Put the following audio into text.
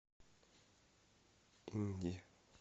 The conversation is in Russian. инди